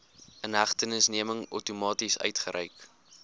inhegtenisneming outomaties uitgereik